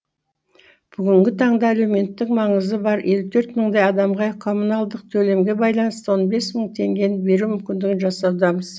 бүгінгі таңда әлеуметтік маңызы бар елу төрт мыңдай адамға коммуналдық төлемге байланысты он бес мың теңгені беру мүмкіндігін жасаудамыз